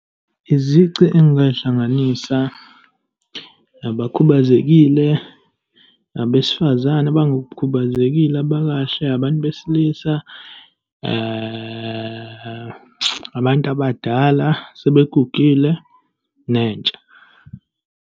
Izici engingayihlanganisa, abakhubazekile, abesifazane abangakhubazekile, abakahle, abantu besilisa, abantu abadala, sebegugile, nentsha.